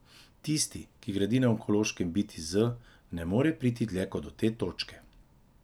Tisti, ki gradi na ontološkem biti z, ne more priti dlje kot do te točke.